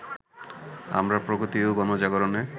আমরা প্রগতি ও গণজাগরণে